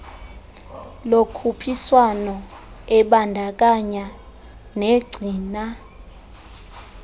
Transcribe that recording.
lokhuphiswano ebandakanya negcina